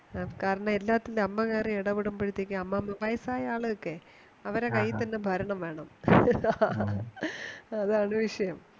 ഹ കാരണം എല്ലാത്തിനും അമ്മ കേറി ഇടപെടുമ്പോഴത്തേക്കും അമ്മാമ വയസ്സായ ആളുകൾക്കയ് അവരുടെ കയ്യിൽ തന്നെ ഭരണം വേണം ഹ ഹ ഹ അതാണ് വിഷയം